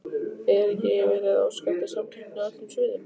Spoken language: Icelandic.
Er ekki verið að óska eftir samkeppni á öllum sviðum?